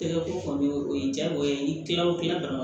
Tɛgɛ ko o ye jagoya ye n'i kila o kila ka